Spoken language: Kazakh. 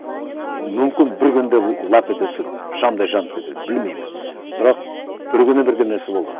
мүмкін бір күнде лап ете түсіп шамдай жанып кетеді білмеймін бірақ бір күні бірдеңесі болады